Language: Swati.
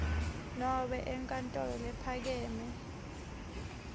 nobe enkantolo lephakeme